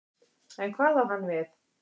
En hvað á hann við?